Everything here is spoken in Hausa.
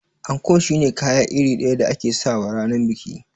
Anko shine kaya iri ɗaya da ake sawa ranar biki